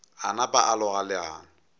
a napa a loga leano